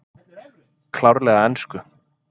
Klárlega ensku